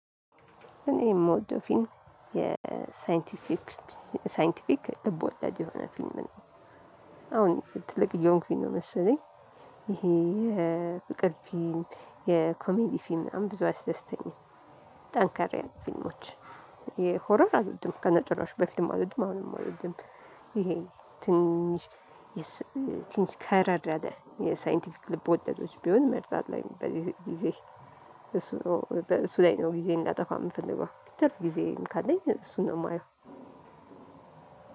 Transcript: እኔ የምወደው ፊልም የሳይንቲፊክ ሳይንቲፊክ ልቦላድ የሆነ ፊልም ነው። አሁን ትልቅ እየሆንኩኝ ነው መሰለኝ። ይሄ የፍቅር ፊልም የኮሜዲ ፊልም ምናምን ብዙ አያስደስተኝም። ጠንከር ያሉ ፊልሞች። የሆረር አልወድም ከነጭራሹ በፊትም አልወድም አሁንም አልወድም። ይሄ ትንሽ ትንሽ ከረር ያለ የሳይንቲፊክ ልብ ወለዶች ቢሆን መርጣለሁኝ በዚህ ጊዜ። እሱ ነው እሱ ላይ ነው ጊዜ እንዳጠፋ የምፈልገው ትርፍ ጊዜ ካለኝ እሱን ነው የማየው።